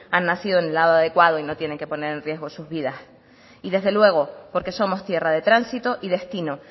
han nacido en el lado adecuado y no tienen que poner en riesgo sus vidas y desde luego porque somos tierra de tránsito y destino